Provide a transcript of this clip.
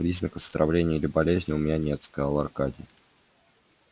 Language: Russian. признаков отравления или болезни у меня нет сказал аркадий